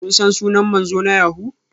Kun san sunan manzo na yahoo?